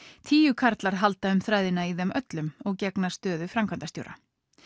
tíu karlar halda um þræðina í þeim öllum og gegna stöðu framkvæmdastjóra